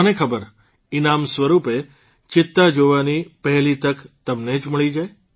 કોને ખબર ઇનામ સ્વરૂપે ચિત્તા જોવાની પહેલી તક તમને જ મળી જાય